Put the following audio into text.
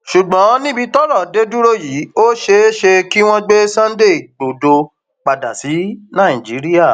ṣùgbọn níbi tọrọ dé dúró yìí ó ṣeé ṣe kí wọn gbé sunday igbodò padà sí nàìjíríà